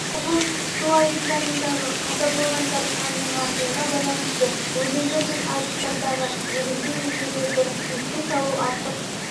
облыс су айдындарындағы қаза болғандар санының артуына байланысты өзендер мен айдындардағы негізгі ережелерді еске салу артық